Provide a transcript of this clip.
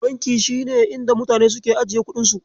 Banki shine inda mutane suke ajiye kuɗin su.